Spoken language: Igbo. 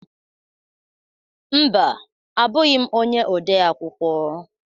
Mba, abughi m ọnye ọde akwụkwọ